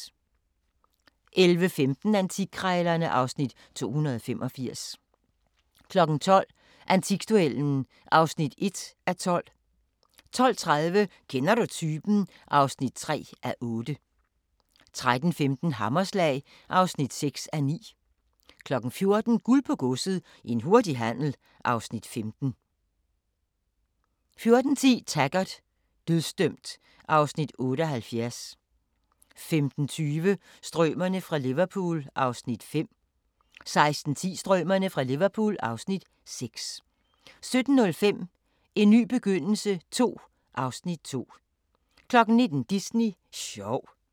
11:15: Antikkrejlerne (Afs. 285) 12:00: Antikduellen (1:12) 12:30: Kender du typen? (3:8) 13:15: Hammerslag (6:9) 14:00: Guld på Godset – en hurtig handel (Afs. 5) 14:10: Taggart: Dødsdømt (Afs. 78) 15:20: Strømerne fra Liverpool (Afs. 5) 16:10: Strømerne fra Liverpool (Afs. 6) 17:05: En ny begyndelse II (Afs. 2) 19:00: Disney sjov